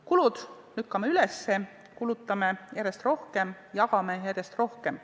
Kulud lükkame üles, kulutame järjest rohkem, jagame järjest rohkem.